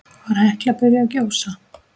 Var Hekla byrjuð að gjósa?